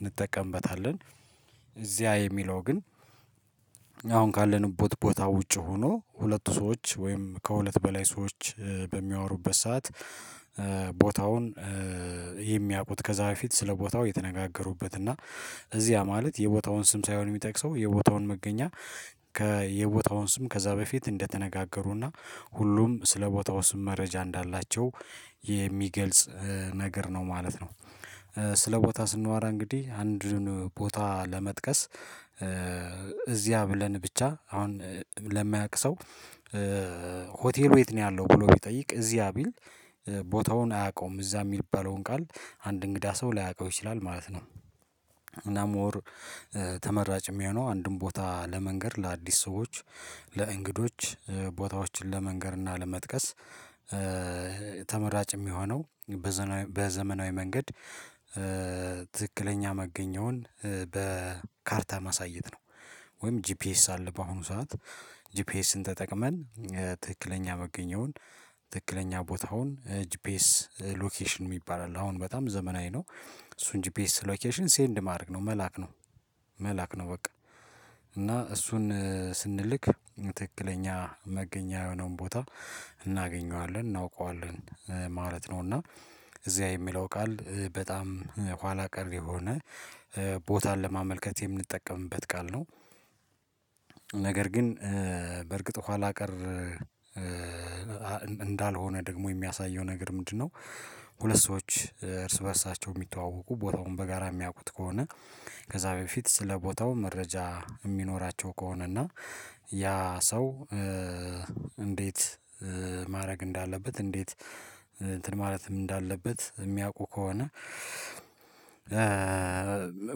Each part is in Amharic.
እንጠቀምበታለን። እዚያ የሚለው ግን አሁን ካለንበት ቦታ ውጪ ሆኖ ሁለቱ ሰዎች ወይም ከሁለት በላይ ሰዎች በሚያወሩበት ሰዓት ቦታውን የሚያውቁት ከዛ በፊት ስለ ቦታው የተነጋገሩበት እና እዚያ ማለት የቦታውን ስም ሳይሆን የሚጠቅሰው የቦታውን መገኛ ከ የቦታውን ስም ከዛ በፊት እንደተነጋገሩና ሁሉም ስለ ቦታው ስም መረጃ እንዳላቸው የሚገልጽ ነገር ነው ማለት ነው። ስለ ቦታ ስንወራ እንግዲህ አንድን ቦታ ለመጥቀስ እዚያ ብለን ብቻ አሁን ለማያውቅ ሰው? ሆቴሉ የት ነው ያለው ብሎ ቢጠይቅ እዚያ ቢል ቦታውን አያውቀውም እዛ የሚባለውን ቃል አንድ እንግዳ ሰው ላያውቀው ይችላል ማለት ነው። እና ሞር ተመራጭ የሚሆነው አንድም ቦታ ለመንገድ ለአዲስ ሰዎች ለእንግዶች ቦታዎችን ለመንገር እና ለመጥቀስ ተመራጭ የሚሆነው በዘመናዊ መንገድ ትክክለኛ መገኘውን በካርታ ማሳየት ነው። ወይም ጂፒኤስ አለ በአሁኑ ሰዓት ጂፒኤስን ተጠቅመን ትክክለኛ መገኘውን ትክክለኛ ቦታውን ጂፒኤስ ሎኬሽን የሚባል አለ አሁን በጣም ዘመናዊ ነው። እሱን ጂፒኤስ ሎኬሽን ሴንድ ማድረግ ነው መላክ ነው መላክ ነው በቃ። እና እሱን ስንልክ ትክክለኛ መገኛ የሆነውን ቦታ እናገኘዋለን እናውቀዋለን ማለት ነው። እና እዚያ የሚለው ቃል በጣም ኋላ ቀር የሆነ ቦታን ለማመልከት የምንጠቀምበት ቃል ነው። ነገር ግን በእርግጥ ኋላ ቀር እንዳልሆነ ደግሞ የሚያሳየው ነገር ምንድነው? ሁለት ሰዎች እርስ በእርሳቸው የሚተዋወቁ ቦታውን በጋራ የሚያውቁት ከሆነ ከዛ በፊት ስለ ቦታው መረጃ የሚኖራቸው ከሆነ እና ያ ሰው እንዴት ማድረግ እንዳለበት እንዴት እንትን ማለትም እንዳለበት የሚያውቁ ከሆነ።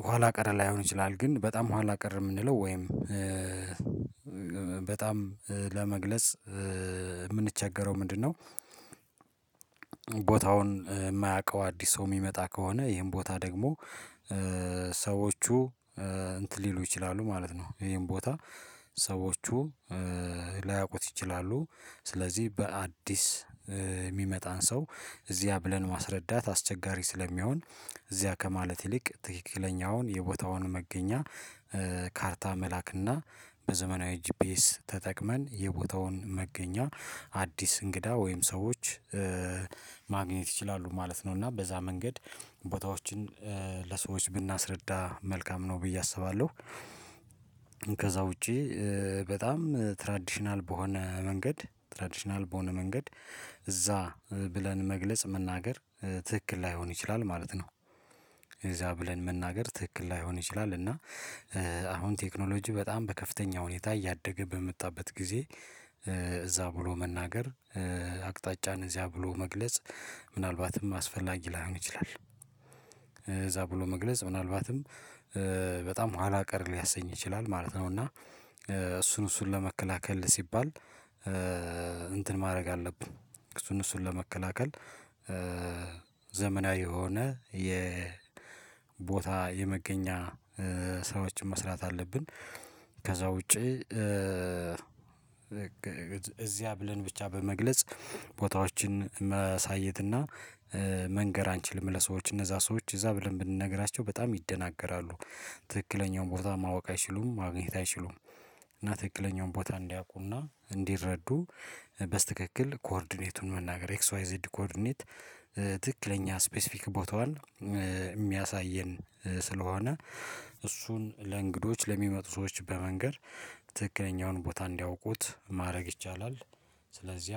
ኋላ ቀር ላይሆን ይችላል ግን በጣም ኋላ ቀር የምንለው ወይም በጣም ለመግለጽ የምንቸገረው ምንድነው? ቦታውን የማያውቀው አዲስ ሰው የሚመጣ ከሆነ ይሄን ቦታ ደግሞ ሰዎቹ እንትን ሊሉ ይችላሉ ማለት ነው ይሄን ቦታ ሰዎቹ ላያውቁት ይችላሉ። ስለዚህ በአዲስ የሚመጣን ሰው እዚያ ብለን ማስረዳት አስቸጋሪ ስለሚሆን እዚያ ከማለት ይልቅ ትክክለኛውን የቦታውን መገኛ ካርታ መላክና በዘመናዊ ጂፒኤስ ተጠቅመን የቦታውን መገኛ አዲስ እንግዳ ወይም ሰዎች ማግኘት ይችላሉ ማለት ነው። እና በዛ መንገድ ቦታዎችን ለሰዎች ብናስረዳ መልካም ነው ብዬ አስባለሁ። ከዛ ውጪ በጣም ትራዲሽናል በሆነ መንገድ ትራዲሽናል በሆነ መንገድ እዛ ብለን መግለጽ መናገር ትክክል ላይሆን ይችላል ማለት ነው። እዛ ብለን መናገር ትክክል ላይሆን ይችላል እና አሁን ቴክኖሎጂ በጣም በከፍተኛ ሁኔታ እያደገ በመጣበት ጊዜ እዛ ብሎ መናገር አቅጣጫን እዚያ ብሎ መግለጽ ምናልባትም አስፈላጊ ላይሆን ይችላል እዛ ብሎ መግለጽ ምናልባትም በጣም ኋላ ቀር ሊያሰኝ ይችላል ማለት ነው። እና እሱን እሱን ለመከላከል ሲባል እንትን ማድረግ አለብን። እሱን እሱን ለመከላከል ዘመናዊ የሆነ የቦታ የመገኛ ስራዎችን መስራት አለብን። ከዛ ውጪ እዚያ ብለን ብቻ በመግለጽ ቦታዎችን ማሳየትና መንገር አንችልም ለሰዎች እነዛ ሰዎች እዛ ብለን ብንነግራቸው በጣም ይደነጋገራሉ። ትክክለኛውን ቦታ ማወቅ አይችሉም ማግኘት አይችሉም። እና ትክክለኛውን ቦታ እንዲያውቁና እንዲረዱ በስተክክል ኮርዲኔቱን መናገር ኤክስ ዋይ ዜድ ኮርዲኔት ትክክለኛ ስፔሲፊክ ቦታዋን የሚያሳየን ስለሆነ እሱን ለእንግዶች ለሚመጡ ሰዎች በመንገር ትክክለኛውን ቦታ እንዲያውቁት ማድረግ ይቻላል። ስለዚህ